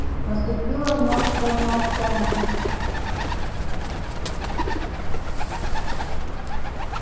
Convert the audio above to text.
наступило мёртвое молчание